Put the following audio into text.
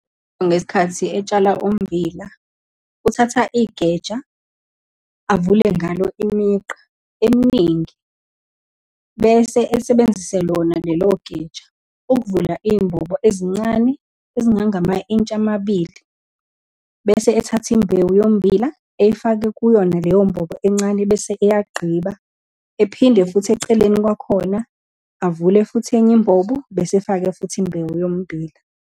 Ngesikhathi etshala ummbila, uthatha igeja, avule ngalo imigqa eminingi, bese esebenzise lona lelo geja ukuvula iy'mbobo ezincane ezingangama-intshi amabili, bese ethathe imbewu yommbila eyifake kuyona leyo mbobo encane, bese eyagqiba. Ephinde futhi eceleni kwakhona avule futhi enye imbobo, bese efaka futhi imbewu yommbila.